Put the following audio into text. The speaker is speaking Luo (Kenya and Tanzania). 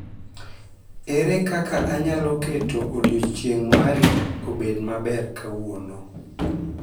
Ere kaka anyalo keto odiechieng' mari obed maber kawuono